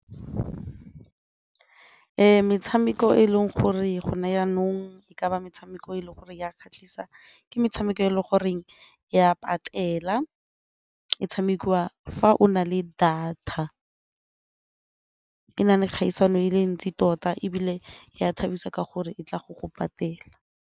Metshameko e leng gore go na jaanong e kaba metshameko e leng gore ya kgatlhisa ke metshameko e le goreng ya patela e tshamekiwa fa o na le data, e na le kgaisano e le ntsi tota ebile e a thabisa tota ka gore e tla go go patela.